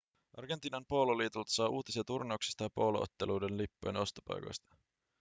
argentiinan poololiitolta saa uutisia turnauksista ja poolo-otteluiden lippujen ostopaikoista